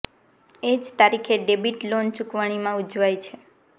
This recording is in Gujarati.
એ જ તારીખે ડેબિટ લોન ચુકવણી માં ઉજવાય છે